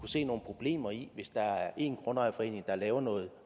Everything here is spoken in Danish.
se nogle problemer i det hvis der er en grundejerforening der laver noget